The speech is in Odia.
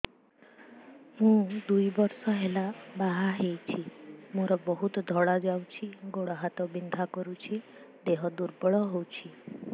ମୁ ଦୁଇ ବର୍ଷ ହେଲା ବାହା ହେଇଛି ମୋର ବହୁତ ଧଳା ଯାଉଛି ଗୋଡ଼ ହାତ ବିନ୍ଧା କରୁଛି ଦେହ ଦୁର୍ବଳ ହଉଛି